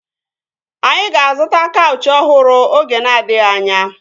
Anyị ga-azụta kaụchị ọhụrụ oge na-adịghị anya